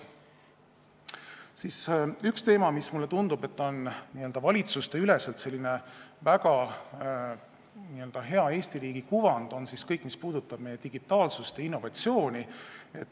Üks teemasid, mis, mulle tundub, on valitsusteüleselt tekitanud Eesti riigile väga head kuvandit, on kõik, mis puudutab digitaalsust ja innovatsiooni.